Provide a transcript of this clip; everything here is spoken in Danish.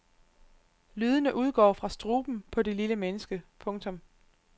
Lydene udgår fra struben på det lille menneske. punktum